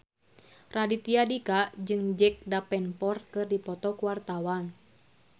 Raditya Dika jeung Jack Davenport keur dipoto ku wartawan